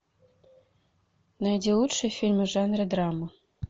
найди лучшие фильмы в жанре драма